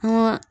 An ka